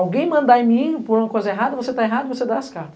Alguém mandar em mim por alguma coisa errada, você está errado e você dá as cartas.